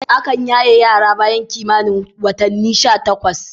Akan yaye yara bayan kimanin watannin sha takwas.